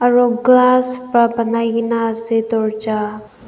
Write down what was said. Aro glass pra banaikena ase dowarja.